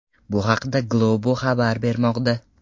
Bu haqda Globo xabar bermoqda .